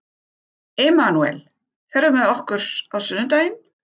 Emanúel, ferð þú með okkur á sunnudaginn?